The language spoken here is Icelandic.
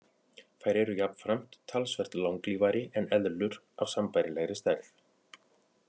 Þær eru jafnframt talsvert langlífari en eðlur af sambærilegri stærð.